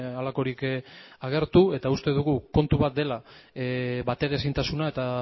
halakorik agertu eta uste dugu kontu bat dela bateraezintasuna eta